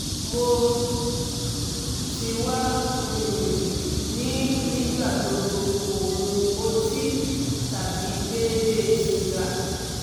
mo ti wa um ni nigbagbogbo ko mu oti tabi deede siga